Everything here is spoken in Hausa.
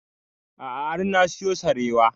A'a har na siyo sarewa